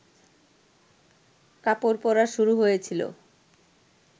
কাপড় পরা শুরু হয়েছিল